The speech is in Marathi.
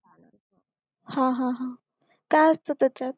हा हा हा काय असतं त्याच्यात